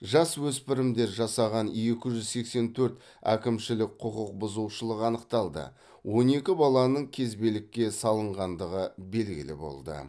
жасөспірімдер жасаған екі жүз сексен төрт әкімшілік құқық бұзушылық анықталды он екі баланың кезбелікке салынғандығы белгілі болды